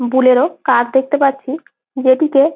বুলেরও car দেখতে পাচ্ছি যেটিতে--